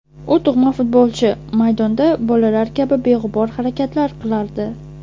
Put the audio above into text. U tug‘ma futbolchi, maydonda bolalar kabi beg‘ubor harakatlar qilardi”.